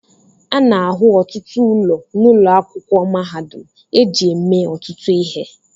A na-ahụ ọtụtụ ụlọ n'ụlọ akwụkwọ mahadum eji eme ọtụtụ ihe